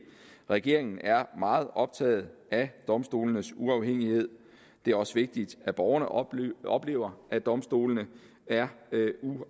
regeringen er meget optaget af domstolenes uafhængighed det er også vigtigt at borgerne oplever oplever at domstolene er